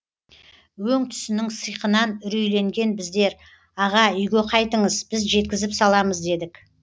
өң түсінің сиқынан үрейленген біздер аға үйге қайтыңыз біз жеткізіп саламыз дедік